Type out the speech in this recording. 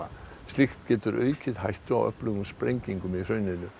slíkt getur aukið hættu á öflugum sprengingum í hrauninu